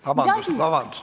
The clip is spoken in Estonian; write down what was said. Vabandust!